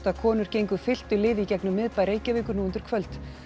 konur gengu fylktu liði í gegnum miðbæ Reykjavíkur nú undir kvöld